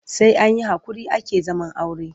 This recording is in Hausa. Sai an yi haƙuri ake zaman aure.